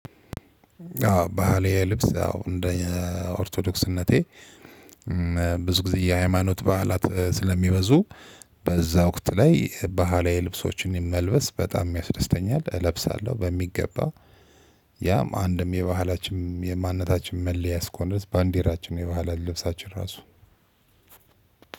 አዎ ባህል የልብስ አዎ እንደ ኦርቶዶክስነቴ ብዙ ጊዜ የሃይማኖት በዓላት ስለሚበዙ በዛ ወቅት ላይ ባህላዊ ልብሶችን መልበስ በጣም ያስደስተኛል እለብሳለሁ በሚገባ። ያም አንድም የባህላችን የማንነታችን መለያ እስከሆነ ድረስ ባንዲራችን የባህል ልብሳችን ራሱ